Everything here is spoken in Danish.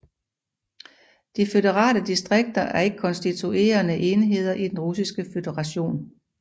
De føderale distrikter er ikke konstituerende enheder i den russiske føderation